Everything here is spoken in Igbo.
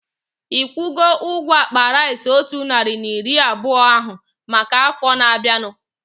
Ikwugo ụgwọ akpa rice otu narị na iri abụọ ahu maka afọ na-abianu?